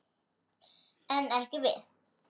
En ekki við.